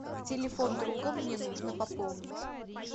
телефон друга мне нужно пополнить